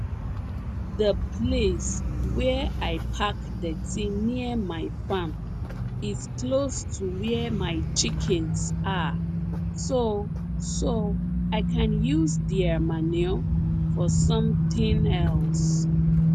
the place where i park dirty near my farm is close to where my chickens are so so i can use their manure for something else